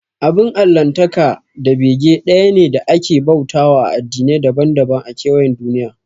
Abin Allahntaka da bege ɗaya ne da ake bauta wa a addinai daban daban a kewayen duniya